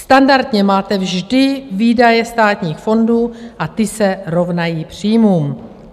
Standardně máte vždy výdaje státních fondů a ty se rovnají příjmům.